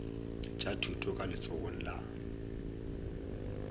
tša thuto ka letsogong la